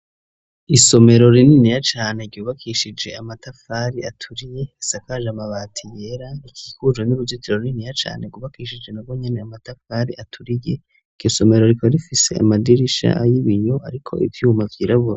Isomero rininiya cane ryubakishije amatafari aturiye isakaje amabati yera ikikujwe n'uruzitiro rininiya cane rwubakishije na rwonyene amatafari aturiye iryo somero rikaba rifise amadirisha y'ibiyo ariko ivyuma vyirabura.